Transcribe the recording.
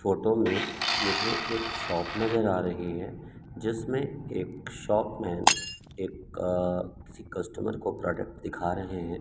Photo में मुझे एक शॉप नजर आ रही है जिसमें एक शॉप में एक अ किसी कस्टमर को प्रोडक्ट दिखा रहे हैं।